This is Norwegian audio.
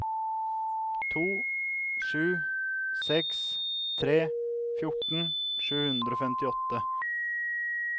to sju seks tre fjorten sju hundre og femtiåtte